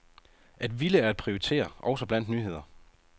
At ville er at prioritere, også blandt nyheder.